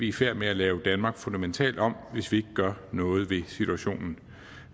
i færd med at lave danmark fundamentalt om hvis vi ikke gør noget ved situationen